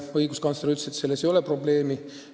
Õiguskantsler ütles, et selles ei ole probleemi.